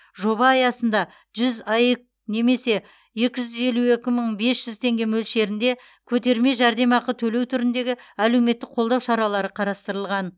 жоба аясында жүз аек немесе екі жүз елу екі мың бес жүз теңге мөлшерінде көтерме жәрдемақы төлеу түріндегі әлеуметтік қолдау шаралары қарастырылған